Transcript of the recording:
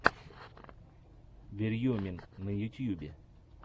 верьемин на ютьюбе